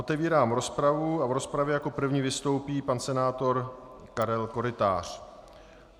Otevírám rozpravu a v rozpravě jako první vystoupí pan senátor Karel Korytář.